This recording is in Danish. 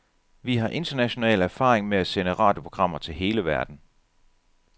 Vi har international erfaring med at sende radioprogrammer til hele verden.